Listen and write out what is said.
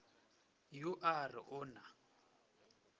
yo a re o na